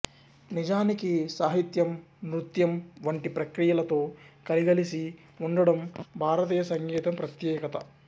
నిజానికి సాహిత్యం నృత్యం వంటి ప్రక్రియలతో కలగలిసి వుండటం భారతీయ సంగీతం ప్రత్యేకత